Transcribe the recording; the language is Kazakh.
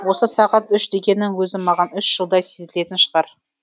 осы сағат үш дегеннің өзі маған үш жылдай сезілетін шығар